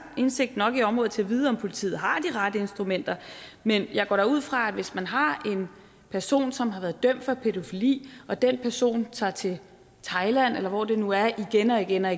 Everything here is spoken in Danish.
indsigt nok i området til at vide om politiet har de rette instrumenter men jeg går da ud fra at der hvis man har en person som har været dømt for pædofili og den person tager til thailand eller hvor det nu er igen og igen er